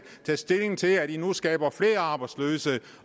tage stilling til at man nu skaber flere arbejdsløse